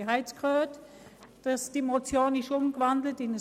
Ich habe jetzt gehört, dass die Motion in ein Postulat umgewandelt worden ist.